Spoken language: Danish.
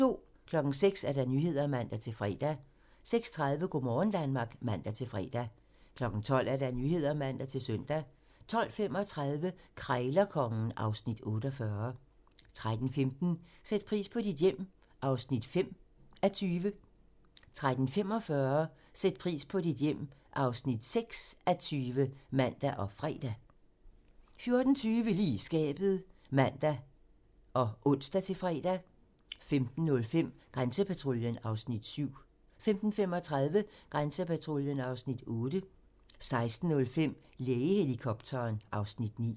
06:00: Nyhederne (man-fre) 06:30: Go' morgen Danmark (man-fre) 12:00: Nyhederne (man-søn) 12:35: Krejlerkongen (Afs. 48) 13:15: Sæt pris på dit hjem (5:20) 13:45: Sæt pris på dit hjem (6:20)(man og fre) 14:20: Lige i skabet (man og ons-fre) 15:05: Grænsepatruljen (Afs. 7) 15:35: Grænsepatruljen (Afs. 8) 16:05: Lægehelikopteren (Afs. 9)